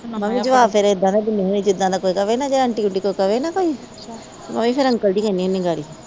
ਮੈ ਵੀ ਜਵਾਬ ਫਿਰ ਇਹ ਦਾ ਦਿਨੀ ਹੁਨੀ ਜਿਦਾ ਦਾ ਕੋਈ ਕਵੇ ਨਾ ਕੇ ਆਂਟੀ ਓਂਟੀ ਕੋਈ ਕਵੇ ਨਾ ਕੋਈ ਮੈ ਵੀ ਫਿਰ ਅੰਕਲ ਜੀ ਕਹਿੰਦੀ ਹੁਨੀ ਗਾੜੀ